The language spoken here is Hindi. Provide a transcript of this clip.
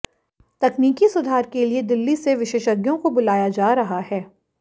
तकनीकी सुधार के लिए दिल्ली से विशेषज्ञों को बुलाया जा रहा है